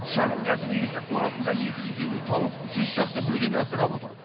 шағын кәсіп иесі қорасында екі жүз елу тауық жүз шақты бөдене асырап отыр